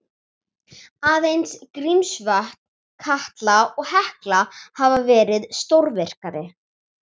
Aðeins Grímsvötn, Katla og Hekla hafa verið stórvirkari.